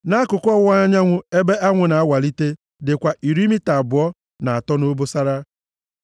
Nʼakụkụ ọwụwa anyanwụ, ebe anwụ na-awalite dịkwa iri mita abụọ na atọ nʼobosara.